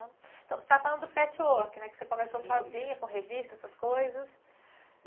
Então, você estava falando do patchwork, que você começou sozinha, isso, com revistas, essas coisas.